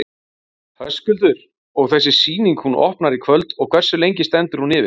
Höskuldur: Og þessi sýning, hún opnar í kvöld og hversu lengi stendur hún yfir?